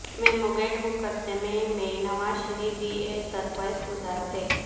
memo gate مقدمے میں نواز شریف بھی ایک درخواست گذار تھے